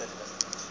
e ne e le tsotsi